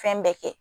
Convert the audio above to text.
Fɛn bɛɛ kɛ